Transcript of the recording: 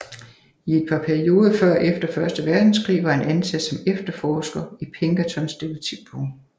I et par perioder før og efter første verdenskrig var han ansat som efterforsker i Pinkertons detektivbureau